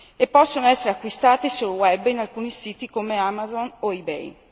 e possono essere acquistati sul web in alcuni siti come Amazon o eBay.